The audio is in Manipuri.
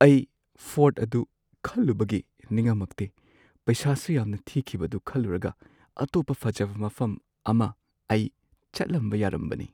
ꯑꯩ ꯐꯣꯔꯠ ꯑꯗꯨ ꯈꯜꯂꯨꯕꯒꯤ ꯅꯤꯡꯉꯝꯃꯛꯇꯦ, ꯄꯩꯁꯥꯁꯨ ꯌꯥꯝꯅ ꯊꯤꯈꯤꯕꯗꯨ ꯈꯜꯂꯨꯔꯒ, ꯑꯇꯣꯞꯄ ꯐꯖꯕ ꯃꯐꯝ ꯑꯃ ꯑꯩ ꯆꯠꯂꯝꯕ ꯌꯥꯔꯝꯕꯅꯤ꯫